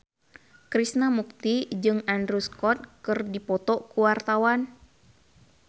Krishna Mukti jeung Andrew Scott keur dipoto ku wartawan